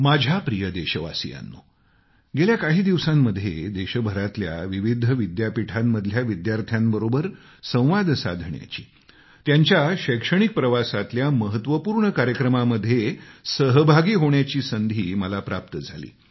माझ्या प्रिय देशवासियांनो गेल्या काही दिवसांमध्ये देशभरातल्या विविध विद्यापीठातल्या विद्यार्थ्यांबरोबर संवाद साधण्याची त्यांच्या शैक्षणिक प्रवासातल्या महत्वपूर्ण कार्यक्रमामध्ये सहभागी होण्याची संधी मला प्राप्त झाली